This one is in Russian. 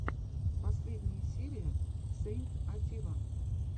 последняя серия сэйнт атилла